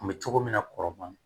Kun bɛ cogo min na kɔrɔbɔrɔ